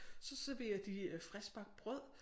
Så serverer de friskbagt brød